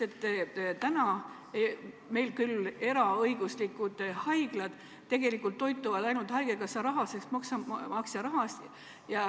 Täna meil küll eraõiguslikud haiglad tegelikult toituvad ainult haigekassa rahast, maksumaksja rahast.